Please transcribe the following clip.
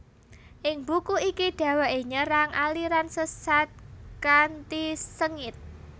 Ing buku iki dheweke nyerang aliran sesat kanthi sengit